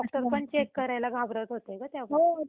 हो तेच ना डॉक्टरांनी सुद्धा हात लावला नाही